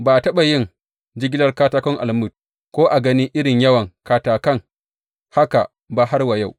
Ba a taɓa yin jigilar katakon almug ko a gani irin yawan katakai haka ba har wa yau.